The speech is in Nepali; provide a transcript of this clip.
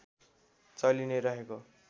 चलि नै रहेको